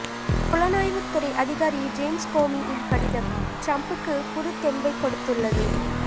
புலனாய்வுத் துறை அதிகாரி ஜேம்ஸ் கோமியின் கடிதம் ட்ரம்புக்கு புதுத் தெம்பைக் கொடுத்துள்ளது